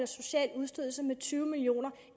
social udstødelse med tyve millioner